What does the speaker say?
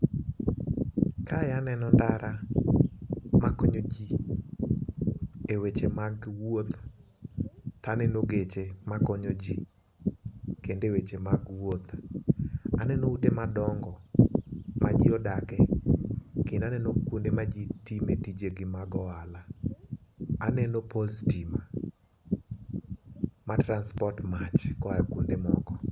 Kae aneno ndara makonyo jii e weche mag wuoth. Aneno geche makonyo jii kendo eweche mag wuoth , aneno ute madongo ma jii odake kendo aneno kuonde ma jii time tijegi mag ohala . Aneno pole stima ma transport mach koa kuonde moko.